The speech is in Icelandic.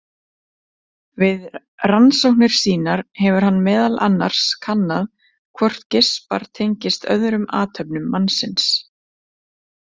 Við rannsóknir sínar hefur hann meðal annars kannað hvort geispar tengist öðrum athöfnum mannsins.